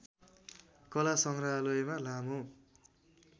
कला सङ्ग्रहालयमा लामो